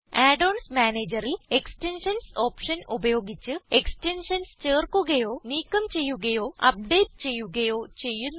add ons Managerൽ extensions option ഉപയോഗിച്ച് extensions ചേർക്കുകയോ നീക്കം ചെയ്യുകയോ അപ്ഡേറ്റ് ചെയ്യുകയോ ചെയ്യുന്നു